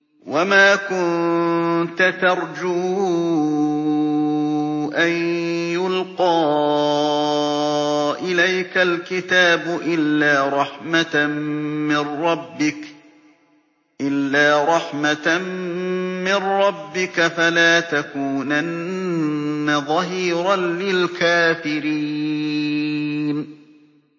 وَمَا كُنتَ تَرْجُو أَن يُلْقَىٰ إِلَيْكَ الْكِتَابُ إِلَّا رَحْمَةً مِّن رَّبِّكَ ۖ فَلَا تَكُونَنَّ ظَهِيرًا لِّلْكَافِرِينَ